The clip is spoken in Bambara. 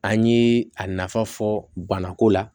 An ye a nafa fɔ banako la